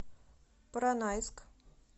поронайск